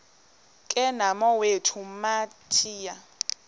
ke nomawethu wamthiya